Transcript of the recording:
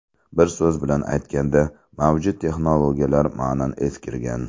Bir so‘z bilan aytganda, mavjud texnologiyalar ma’nan eskirgan.